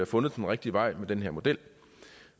fundet den rigtige vej med den her model